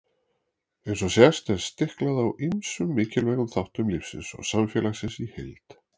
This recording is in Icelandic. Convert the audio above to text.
Eins og sést er stiklað á ýmsum mikilvægum þáttum lífsins og samfélagsins í heild.